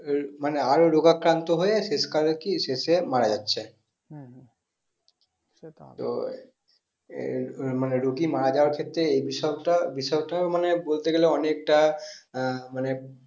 এই মানে আরো রোগাক্রান্ত হয়ে শেষ কালে কি শেষে মারা যাচ্ছে তো এই রুগী মারা যাওয়ার ক্ষেত্রে এই বিষয়টা বিষয়টা মানে বলতে গেলে অনেকটা আহ মানে